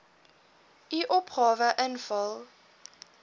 u opgawe invul